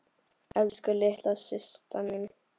Elsku litla systa mín.